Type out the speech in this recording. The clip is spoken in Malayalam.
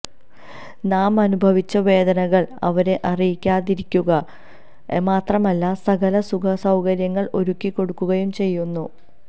നാം അനുഭവിച്ച വേദനകൾ അവരെ അറിയികാതിരിക്കുക മാത്രമല്ല സകല സുഖ സൌകര്യങ്ങൾ ഒരുക്കി കൊടുക്കുകയും ചെയ്യുന്നു